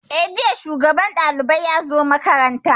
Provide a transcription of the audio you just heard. Eh, jiya shugaban ɗalibai ya zo makaranta